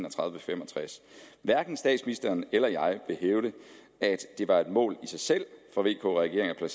og fem og tres hverken statsministeren eller jeg vil hævde at det var et mål i sig selv for vk regeringen at